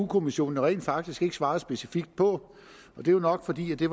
kommissionen rent faktisk ikke har svaret specifikt på det er nok fordi det